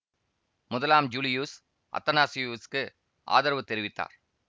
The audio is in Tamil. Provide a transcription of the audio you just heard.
முதலாம் ஜூலியூஸ் அத்தனாசியுசுக்கு ஆதரவு தெரிவித்தார்